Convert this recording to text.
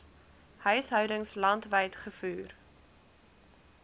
huishoudings landwyd gevoer